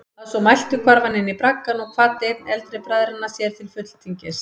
Að svo mæltu hvarf hann inní braggann og kvaddi einn eldri bræðranna sér til fulltingis.